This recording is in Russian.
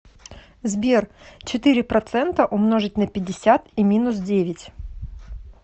сбер четыре процента умножить на пятьдесят и минус девять